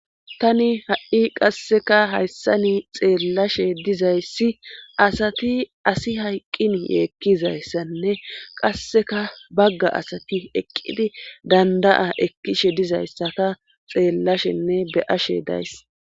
tani ha7i qasseka hayssani xeellashe dizayssi asati asi hayqqin yeekkizayssanne qasseka bagga asati eqqidi danda7a ekkishe dizayssaka xeellashenne be ashe days